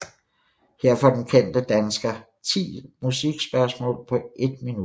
Her får den kendte danske 10 musikspørgsmål på 1 minut